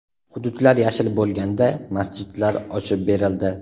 Hududlar yashil bo‘lganda masjidlar ochib berildi.